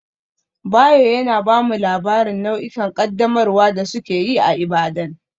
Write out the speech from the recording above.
Bayo yana ba mu labarin nau'ikan ƙaddamarwa da suke yi a Ibadan.